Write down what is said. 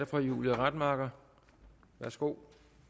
fru julie rademacher værsgo